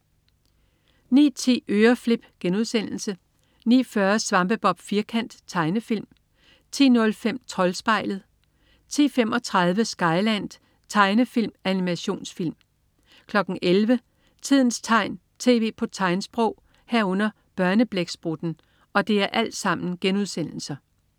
09.10 Øreflip* 09.40 Svampebob Firkant.* Tegnefilm 10.05 Troldspejlet* 10.35 Skyland.* Tegnefilm/Animationsfilm 11.00 Tidens tegn, tv på tegnsprog* 11.00 Børneblæksprutten*